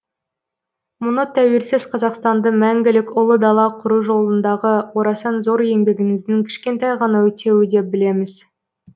мұны тәуелсіз қазақстанды мәңгілік ұлы дала құру жолындағы орасан зор еңбегіңіздің кішкентай ғана өтеуі деп білеміз